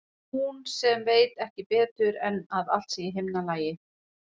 Hún sem veit ekki betur en að allt sé í himnalagi.